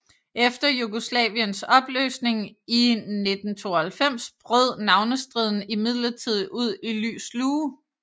Efter Jugoslaviens opløsning i 1992 brød navnestriden imidlertid ud i lys lue